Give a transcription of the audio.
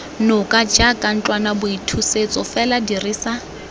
noka jaaka ntlwanaboithusetso fela dirisa